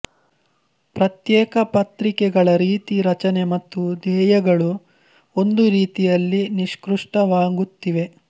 ಪ್ರತ್ಯೇಕ ಪತ್ರಿಕೆಗಳ ರೀತಿ ರಚನೆ ಮತ್ತು ಧ್ಯೇಯಗಳು ಒಂದು ರೀತಿಯಲ್ಲಿ ನಿಷ್ಕೃಷ್ಟವಾಗುತ್ತಿವೆ